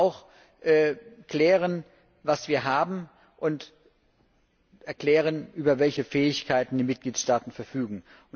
Wir müssen auch klären, was wir haben, und erklären, über welche Fähigkeiten die Mitgliedstaaten verfügen.